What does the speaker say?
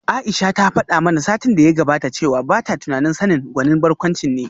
Aisha ta fada mana satin da ya gabata cewa bata tunanin Sani gwanin barkwanci ne